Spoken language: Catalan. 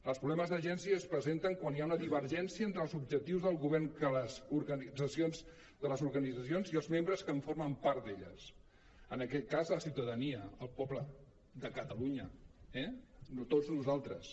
els problemes d’agència es presenten quan hi ha una divergència entre els objectius del govern de les organitza·cions i els membres que en formen part en aquest cas la ciutadania el poble de cata·lunya eh tots nosaltres